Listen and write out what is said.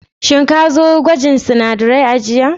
Shin ka zo gwajin sinadarai a jiya?